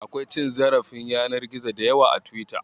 Akwai cin zarafin yanar gizo da yawa a Tiwita.